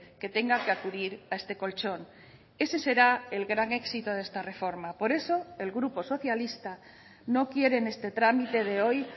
que tenga que acudir a este colchón ese será el gran éxito de esta reforma por eso el grupo socialista no quiere en este trámite de hoy